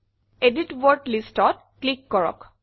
edit word Listত click কৰক